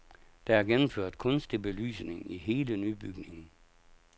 Der er gennemført kunstig belysning i hele nybygningen.